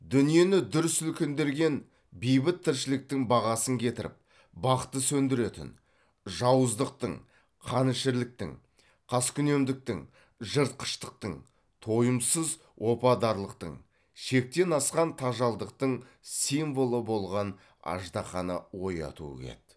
дүниені дүр сілкіндірген бейбіт тіршіліктің бағасын кетіріп бақытын сөндіретін жауыздықтың қанішерліктің қаскүнемдіктің жыртқыштықтың тойымсыз опадарлықтың шектен асқан тажалдықтың символы болған аждаһаны оятуы еді